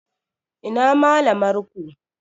Ina malamar ku?